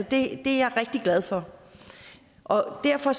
det er jeg rigtig glad for og derfor